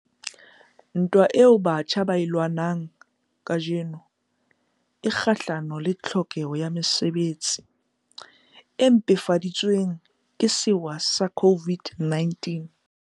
Ntwa eo batjha ba e lwanang kajeno e kgahlano le tlhokeho ya mosebetsi, e mpefaditsweng ke sewa sa COVID-19.